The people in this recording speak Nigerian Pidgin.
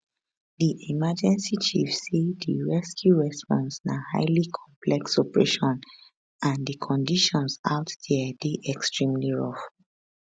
di emergency chief say di rescue response na highly complex operation and di conditions out dia dey extremely rough